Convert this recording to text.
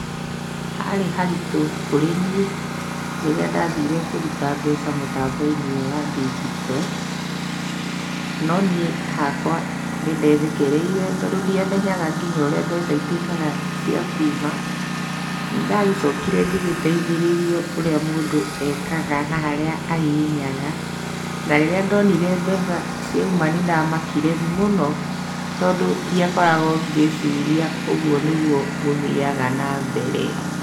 Harĩ haritũ kũrĩ niĩ, rĩrĩa ndathire kũruta mbeca mũtambo-inĩ ũyũ wa ndigito. No niĩ hakwa nĩndethekereire tondũ ndiamenyaga nginya ũrĩa mbeca ituĩkaga cia kuma, nĩndagĩcokire ngĩgĩteithĩrĩrio ũrĩa mũndũ ekaga na harĩa ahihinyaga, na rĩrĩa ndonire mbeca ciauma nĩndamakire mũno, tondũ ndiakoragwo ngĩciria ũguo nĩguo gũthiaga na mbere.